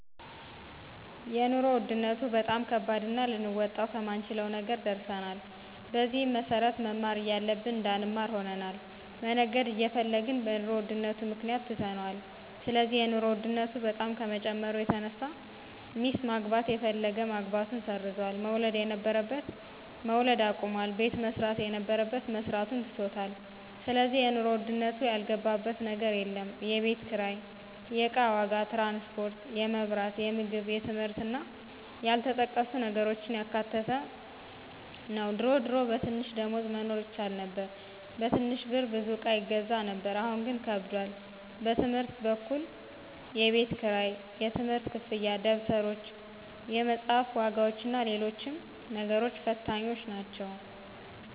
የኑሮ ውድነቱ በጣም ከባድና ልንወጣው ከማንችለው ነገር ደርሰናል። በዚህም መሰረት መማር እያለብን እንዳንማር ሆነናል፣ መነገድ እየፈለግን በኑሮ ውድነቱ ምክንያት ትተነዋል ስለዚህ የኑሮ ውድነቱ በጣም ከመጨመሩ የተነሳ ሚስት ማግባት የፈለገ ማግባቱን ሰርዟል፣ መውለድ የነበረበት መውለድ አቁሟል፣ ቤት መስራት የነበረበት መስራቱን ትቶታል ስለዚህ የኑሮ ውድነቱ ያልገባበት ነገር የለም፣ የቤት ኪራይ፣ የእቃ ዋጋ፣ ትራንስፖርት፣ የመብራት፣ የምግብ የትምህርት እና ያልተጠቀሱ ነገሮችን ያካተተ ነው ድሮ ድሮ በትንሽ ደሞዝ መኖር ይቻል ነበር በትንሽ ብር ብዙ እቃ ይገዛ ነበር አሁን ግን ከብዷል። በትምህርት በኩል የቤት ክራይ፣ የትምህርት ክፍያ፣ ደብተሮች፣ የመፅሐፍ ዋጋዎችና ሎሎችም ነገሮች ፈታኞች ናቸው።